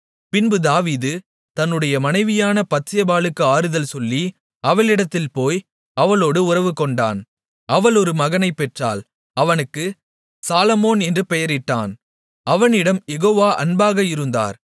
பின்பு தாவீது தன்னுடைய மனைவியான பத்சேபாளுக்கு ஆறுதல் சொல்லி அவளிடத்தில் போய் அவளோடு உறவுகொண்டான் அவள் ஒரு மகனைப்பெற்றாள் அவனுக்குச் சாலொமோன் என்று பெயரிட்டான் அவனிடம் யெகோவா அன்பாக இருந்தார்